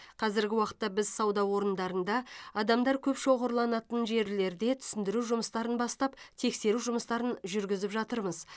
қазіргі уақытта біз сауда орындарында адамдар көп шоғырланатын жерлерде түсіндіру жұмыстарын бастап тексеру жұмыстарын жүргізіп жатырмыз